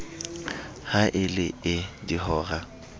ha e le ee dihora